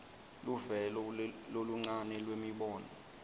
luvelo loluncane lwemibono